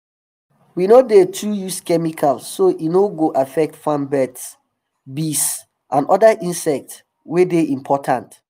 we no dey too use chemical so e no go affect farm birds bees and um oda insects wey dey important